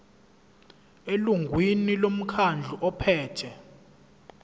elungwini lomkhandlu ophethe